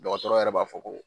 Dɔgɔtɔrɔ yɛrɛ b'a fɔ ko